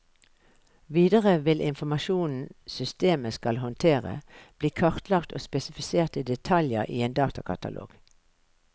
Videre vil informasjonen systemet skal håndtere, bli kartlagt og spesifisert i detaljer i en datakatalog.